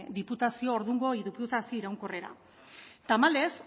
ordungo diputazio iraunkorrerra tamalez